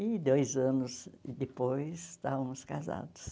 E dois anos depois estávamos casados.